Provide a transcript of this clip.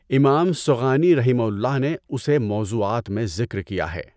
امام صغانی رحمہ اللہ نے اسے موضوعات میں ذکر کیا ہے۔